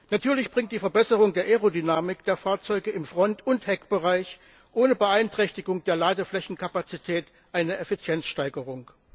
Natürlich bringt die Verbesserung der Aerodynamik der Fahrzeuge im Front und im Heckbereich ohne Beeinträchtigung der Ladeflächenkapazität eine Effizienzsteigerung.